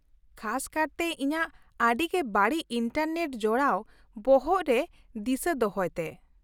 -ᱠᱷᱟᱥ ᱠᱟᱨᱛᱮ ᱤᱧᱟᱹᱜ ᱟᱹᱰᱤ ᱜᱮ ᱵᱟᱹᱲᱤᱡ ᱤᱱᱴᱟᱨᱱᱮᱴ ᱡᱚᱲᱟᱣ ᱵᱚᱦᱚᱜ ᱨᱮ ᱫᱤᱥᱟᱹ ᱫᱚᱦᱚᱭ ᱛᱮ ᱾